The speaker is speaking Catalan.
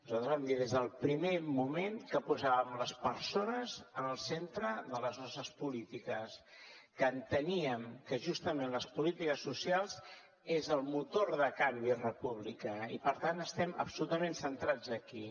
nosaltres vam dir des del primer moment que posàvem les persones en el centre de les nostres polítiques que enteníem que justament les polítiques socials són el motor de canvi republicà i per tant estem absolutament centrats aquí